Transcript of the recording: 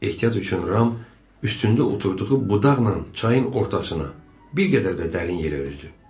Ehtiyat üçün Ram üstündə oturduğu budaqla çayın ortasına, bir qədər də dərin yerə üzdü.